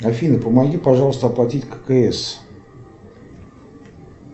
афина помоги пожалуйста оплатить ккс